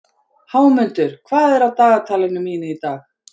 Hámundur, hvað er á dagatalinu mínu í dag?